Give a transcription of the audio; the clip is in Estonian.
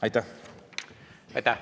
Aitäh!